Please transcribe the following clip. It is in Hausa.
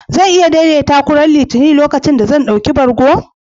Zan iya daidaita ku ranar Litinin, lokacin da zan ɗauki bargo?